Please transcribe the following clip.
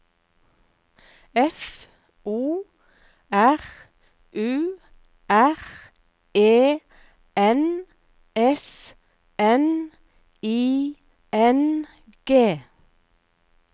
F O R U R E N S N I N G